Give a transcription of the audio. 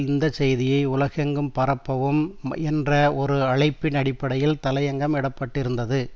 இந்த செய்தியை உலகெங்கும் பரப்பவும் என்ற ஒரு அழைப்பின் அடிப்படையில் தலையங்கம் இடப்பட்டிருந்தது